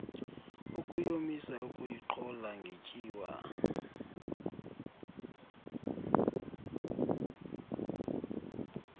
ukuyomisa ukuyiqhola ngetyiwa